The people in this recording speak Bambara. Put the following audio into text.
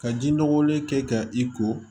Ka ji nɔgɔlen kɛ ka i ko